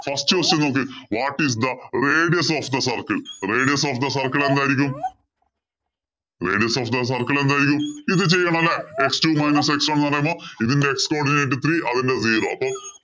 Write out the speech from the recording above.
First question നോക്ക് What is ithe radius of the circle? Radius of the circle എന്തായിരിക്കും? Radius of the circle എന്തായിരിക്കും? ഇത് ചെയ്യണം അല്ലേ? x two minus x one ഇതിന്‍റെ x codinate three അതിന്‍റെ zero